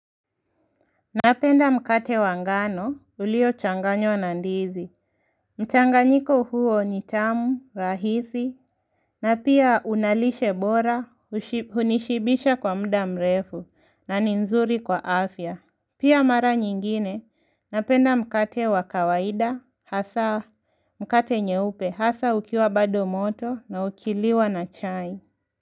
Napenda mkate wangano, ulio changanywa nandizi. Mchanganyiko huo ni tamu, rahisi, na pia unalishe bora, ushi hunishibisha kwa mda mrefu, na ninzuri kwa afya. Pia mara nyingine, napenda mkate wakawaida, hasa mkate nyeupe, hasa ukiwa bado moto, na ukiliwa na chai.